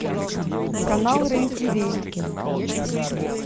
канал рен ти ви